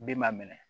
Den m'a minɛ